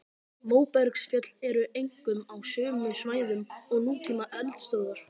Móbergsfjöll eru einkum á sömu svæðum og nútíma eldstöðvar.